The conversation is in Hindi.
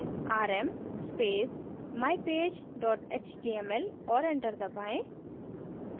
rm space mypage dot html और enter दबाएँ